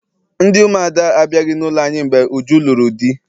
Ndị umuada abịaghị n'ụlọ anyị mgbe Uju lụrụ di